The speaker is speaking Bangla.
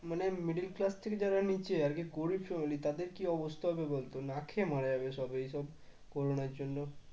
মানে middle class থেকে যারা নিচে আরকি গরিব family তাদের কি অবস্থা হবে বলতো না খেয়ে মারা যাবে সব এসব করুণার জন্য